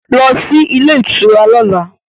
Go to the hotel tomorrow